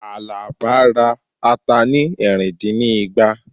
Alaba ra ata ni ẹ̀rìn dín ní igba